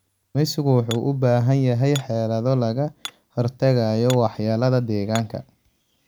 Kalluumaysigu wuxuu u baahan yahay xeelado lagaga hortagayo waxyeelada deegaanka.